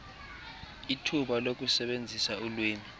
ithuba lokusebenzisa ulwimi